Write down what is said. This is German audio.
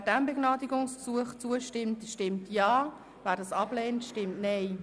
Wer diesem Begnadigungsgesuch zustimmt, stimmt Ja, wer es ablehnt, stimmt Nein.